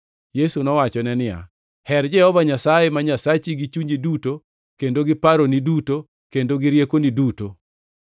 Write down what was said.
Yesu nowachone niya, “ ‘Her Jehova Nyasaye ma Nyasachi gi chunyi duto, kendo gi paroni duto, kendo gi riekoni duto.’ + 22:37 \+xt Rap 6:5\+xt*